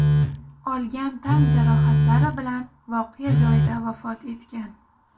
olgan tan jarohatlari bilan voqea joyida vafot etgan.